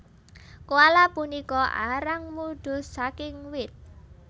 Koala punika arang mudhuh saking wit